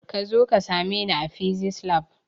Kazo ka same ni a fisis lab